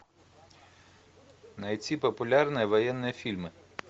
найти популярные военные фильмы